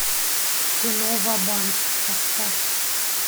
кино ва банк поставь